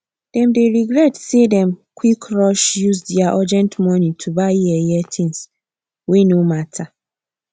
dem dey regret say dem quick rush use dia urgent money to buy yeye things wey no matter